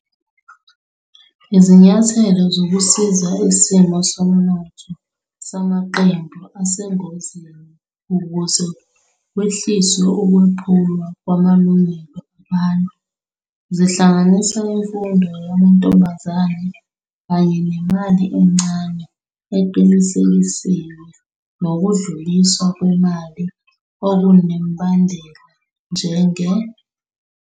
Izinyathelo zokusiza isimo sezomnotho samaqembu asengozini ukuze kwehliswe ukwephulwa kwamalungelo abantu zihlanganisa imfundo yamantombazane kanye nemali encane eqinisekisiwe nokudluliswa kwemali okunemibandela, njenge-